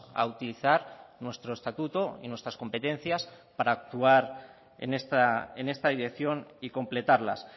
a utilizar nuestro estatuto y nuestras competencias para actuar en esta dirección y completarlas